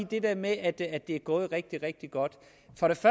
det der med at det er gået rigtig rigtig godt